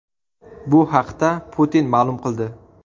Bu haqda Putin ma’lum qildi.